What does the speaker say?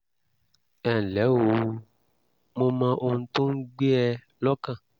ẹ ǹlẹ́ o mo mọ ohun tó ń gbé ẹ lọ́kàn